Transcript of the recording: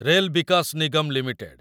rail Vikas Nigam limited